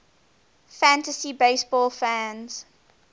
fantasy baseball fans